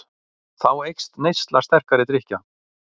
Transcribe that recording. Þá eykst neysla sterkari drykkja.